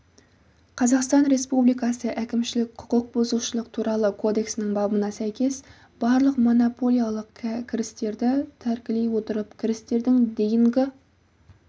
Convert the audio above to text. қазақстан республикасы әкімшілік құқық бұзушылық туралы кодексінің бабына сәйкес барлық монополиялық кірістерді тәркілей отырып кірістердің дейінгі